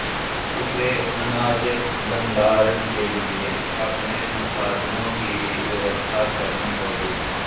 उसे अनाज भंडारण के लिए अपने संसाधनों की भी व्यवस्था करनी होगी